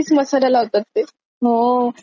अरे बर झालं लक्षात केलंस तू मला